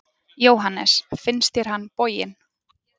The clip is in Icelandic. Jóhannes: Finnst þér hann boginn?